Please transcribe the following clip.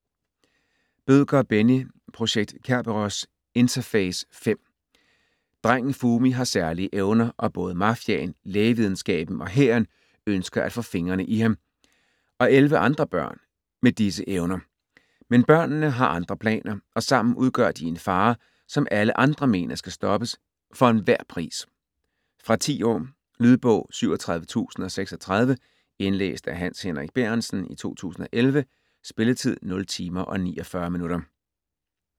Bødker, Benni: Projekt Kerberos: Interface: 5 Drengen Fumi har særlige evner og både mafiaen, lægevidenskaben og hæren ønsker at få fingrene i ham, og elleve andre børn, med disse evner. Men børnene har andre planer, og sammen udgør de en fare, som alle andre mener skal stoppes - for enhver pris! Fra 10 år. Lydbog 37036 Indlæst af Hans Henrik Bærentsen, 2011. Spilletid: 0 timer, 49 minutter.